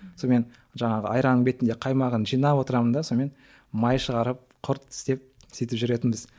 сонымен жаңағы айранның бетіндегі қаймағын жинап отырамын да сонымен май шығарып құрт істеп сөйтіп жүретінбіз